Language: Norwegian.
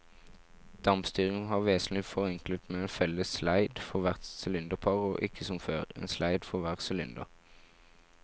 Dampstyringen var vesentlig forenklet med en felles sleid for hvert sylinderpar og ikke som før, en sleid for hver sylinder.